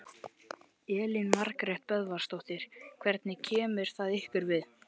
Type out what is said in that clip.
Elín Margrét Böðvarsdóttir: Hvernig kemur það við ykkur?